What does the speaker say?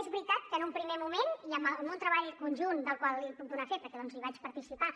és veritat que en un primer moment i amb un treball conjunt del qual li puc donar fe perquè hi vaig participar